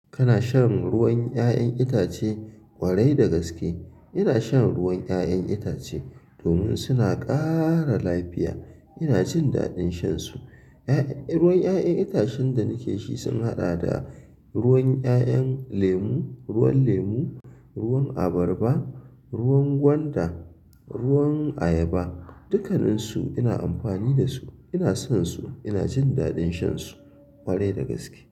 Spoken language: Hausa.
Kana shan ruwan 'ya'yan itace kwarai da gaske? Ina shan ruwan 'ya'yan itace domin suna ƙara lafiya. Ina jin daɗin shansu. 'Ya'yan, ruwan 'ya'yan itacen da nake ci sun haɗa da ruwan 'ya'yan lemu, ruwan lemu, ruwan abarba, ruwan gwanda, ruwan ayaba. Dukanin su ina amfani da su. Ina son su. Ina jin daɗin shansu kwarai da gaske.